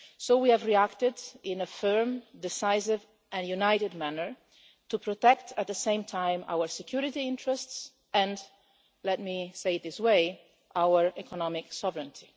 We have reacted in a firm, decisive and united manner to protect at the same time our security interests, and let me say, in this way, our economic sovereignty.